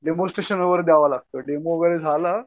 demonstration वगैरे द्यावं लागतं डेमो झालं